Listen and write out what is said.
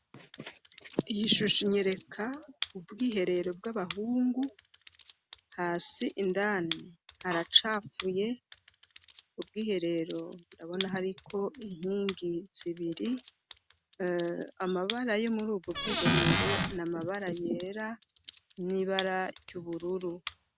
Iyishusho inyereka ubwiherero bw'abahungu hasi indani haracafuye ubwiherero ndabona hariko inkingi zibiri amabara yo murubwo bw'iherero na amabara yera n'ibara ry'ubururu.